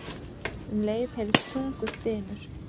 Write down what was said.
Um leið heyrðist þungur dynur.